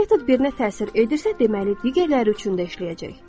Bu metod birinə təsir edirsə, deməli digərləri üçün də işləyəcək.